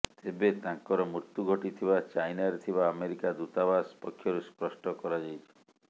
ଏବେ ତାଙ୍କର ମୃତ୍ୟୁ ଘଟିଥିବା ଚାଇନାରେ ଥିବା ଆମେରିକା ଦୂତାବାସ ପକ୍ଷରୁ ସ୍ପଷ୍ଟ କରାଯାଇଛି